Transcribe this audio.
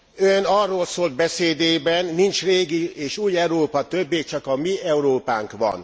Ön arról szólt beszédében, nincs régi és új Európa többé, csak a mi Európánk van.